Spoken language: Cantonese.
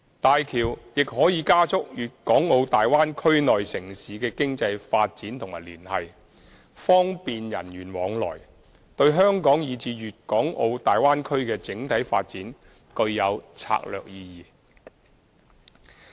大橋亦可以加速粵港澳大灣區內城市的經濟發展和聯繫，方便人員往來，對香港以至粵港澳大灣區的整體發展具有策略意義。